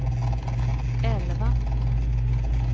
elva